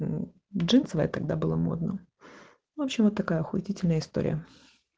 джинсовая когда было модно чего такой ахуительная история